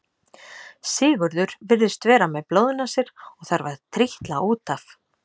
Sigurður virðist vera með blóðnasir og þarf að trítla út af.